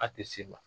A tɛ s'i ma